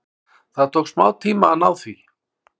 Það tók smá tíma að ná því.